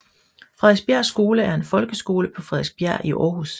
Frederiksbjerg Skole er en folkeskole på Frederiksbjerg i Aarhus